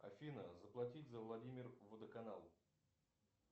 афина заплатить за владимир водоканал